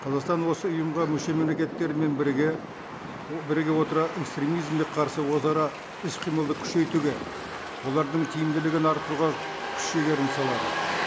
қазақстан осы ұйымға мүше мемлекеттермен біріге біріге отыра экстремизмге қарсы өзара іс қимылды күшейтуге олардың тиімділігін арттыруға күш жігерін салады